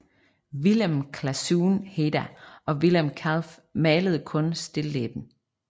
Willem Claeszoon Heda og Willem Kalf malede kun stilleben